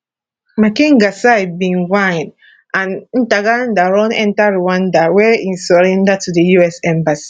makenga side bin wine and ntaganda run enta rwanda wia e surrender to di us embassy